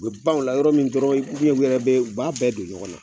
U ban ola yɔrɔ min dɔrɔ u biɲɛn u yɛrɛ b'a bɛɛ don ɲɔgɔn na